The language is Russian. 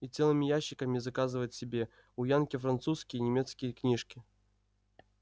и целыми ящиками заказывают себе у янки французские и немецкие книжки